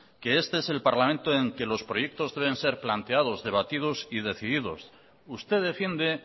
que este es el parlamento en el que los proyectos deben ser planteados debatidos y decididos usted defiende